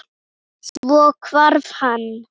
Svo hvarf hann.